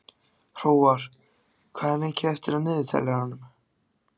Hróar, hvað er mikið eftir af niðurteljaranum?